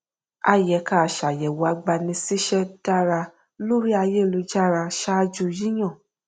a yẹ ká ṣàyẹwò agbanisíṣẹ dára lórí ayélujára ṣáájú yíyan